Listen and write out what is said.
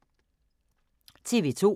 TV 2